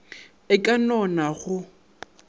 e ka no na go